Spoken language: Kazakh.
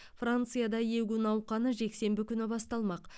францияда егу науқаны жексенбі күні басталмақ